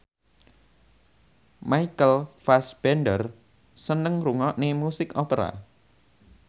Michael Fassbender seneng ngrungokne musik opera